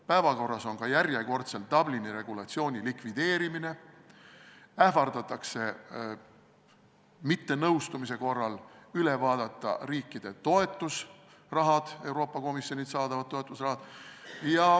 Päevakorral on ka järjekordselt Dublini regulatsiooni likvideerimine, ähvardatakse mittenõustumise korral üle vaadata Euroopa Komisjonilt riikidele antavad toetusrahad.